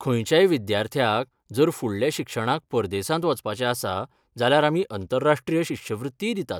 खंयच्याय विद्यार्थ्याक जर फुडल्या शिक्षणाक परदेसांत वचपाचें आसा जाल्यार आमी अंतरराष्ट्रीय शिश्यवृत्तीय दितात.